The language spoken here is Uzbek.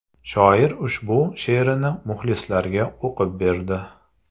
Shoir ushbu she’rini muxlislariga o‘qib berdi.